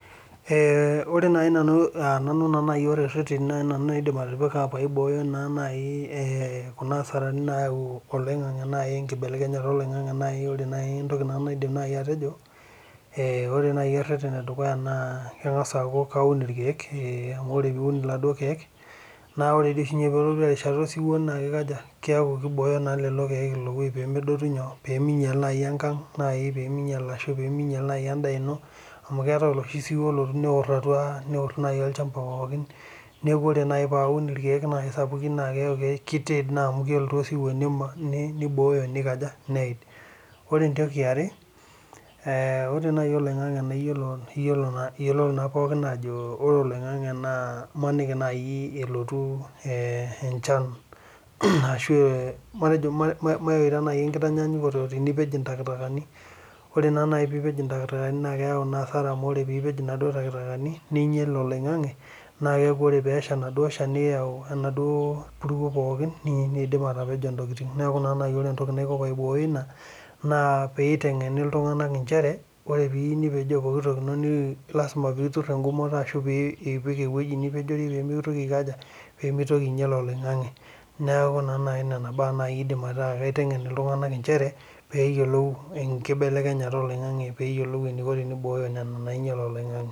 Ee ore nai retenj naidim atipika paibooyo kuna asarani nayau olaingangi na enkibelekenyata oloingangi na ore entomi naidim nanu atejo kangas aaku kaun irkirk amu ore ake piun irkiek na ore oshi oelotu erishata osiwuo na kibooyo lolokieka pemeinyal enchan ashu peminyal endaa ino neaku ore nai paun irkirm sapukin neaku kitid naa amu kelotu osiwuo nitiid ore oloingangi na imaniniki nai elotu enchan ashu maita nai tenioej intakitakani na keyau asara amu ore pipej naduo takitakani ninyel oloingangi na ore pipej naduo takitakani neyau enaduo puruo pookim nidim atepejoi enkop neaku keyieu nai nitengeni ltunganak ajoki ore ake pipej ntakitakani lasima pitur engumoto pemeinyel oloingangi neaku nai nona baa aidim aitengena oltungani peyiolou enkibelekenyata oloingangi peyiolou enainyal oloingangi